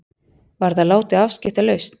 Var það látið afskiptalaust.